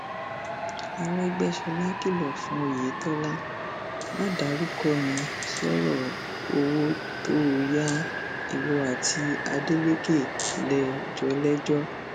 arẹgbẹsọla kìlọ fún oyeto má dárúkọ mi sọrọ owó tó o ya ìwọ àti adeleke lè jọ lẹjọ